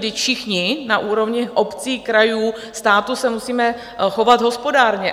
Vždyť všichni na úrovni obcí, krajů, státu se musíme chovat hospodárně.